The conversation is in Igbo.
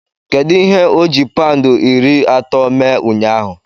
Kedu ihe oji paụndị iri atọ mee ụnyaahụ?